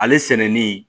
Ale sɛnɛni